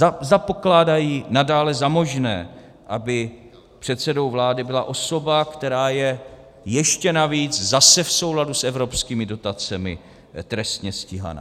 Zda pokládají nadále za možné, aby předsedou vlády byla osoba, která je ještě navíc zase v souladu s evropskými dotacemi trestně stíhaná.